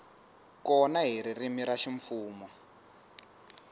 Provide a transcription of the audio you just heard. kona hi ririmi ra ximfumo